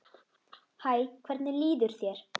Hæ, hvernig líður þér?